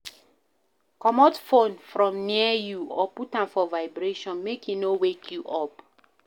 Comot phone from near you or put am for vibration make e no wake you up